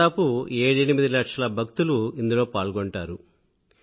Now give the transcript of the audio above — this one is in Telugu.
దాదాపు ఏడెనిమిది లక్షల భక్తులు ఇందులో పాల్గొంటారు